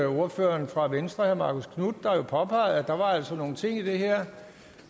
ordføreren for venstre herre marcus knuth der jo påpegede at der altså var nogle ting i det her